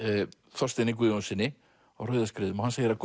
Þorsteini Guðjónssyni á Rauðuskriðum og hann segir að